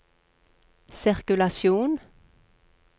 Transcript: sirkulasjon